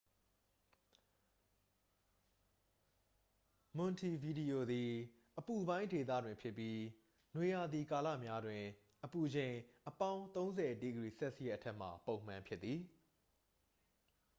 မွန်တီဗီဒီယိုသည် အပူပိုင်းဒေသတွင်ဖြစ်ပြီး နွေရာသီကာလများတွင် အပူချိန်သည် +၃၀°c အထက်မှာ ပုံမှန်ဖြစ်သည်။